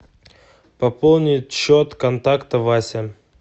пополнить счет контакта вася